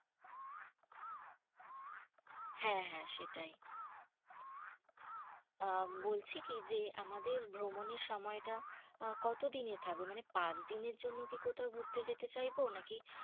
হ্যাঁ হ্যাঁ সেটাই। উম বলছি কি যে, আমাদের ভ্রমণের সময়টা কতদিনের থাকবে? মানে পাঁচদিনের জন্য কি কোথাও ঘুরতে যেতে চাইবো? নাকি?